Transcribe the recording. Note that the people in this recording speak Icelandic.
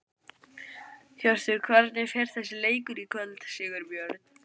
Hjörtur: Hvernig fer þessi leikur í kvöld, Sigurbjörn?